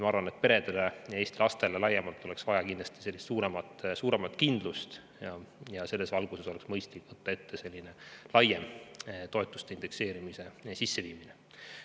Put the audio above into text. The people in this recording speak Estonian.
Ma arvan, et peredele ja Eesti lastele laiemalt oleks vaja kindlasti suuremat kindlust ja selles valguses oleks mõistlik võtta ette laiem toetuste indekseerimine.